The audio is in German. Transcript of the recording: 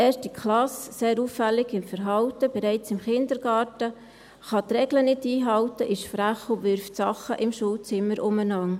1. Klasse, sehr auffällig im Verhalten, bereits im Kindergarten, kann die Regeln nicht einhalten, ist frech und wirft im Schulzimmer Dinge umher.